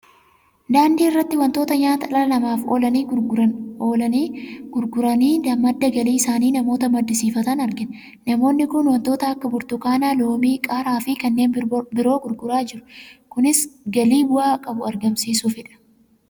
Daandii irratti wantoota nyaata dhala namaaf oolani gurguranii madda galii isaanii namoota maddisiifatan argina. Namootni kun waantota akka burtukaanaa, loomii, qaaraa fi kanneen biroo gurguraa jiru. Kunis galii bu'aa qabu argamsiisuufidha.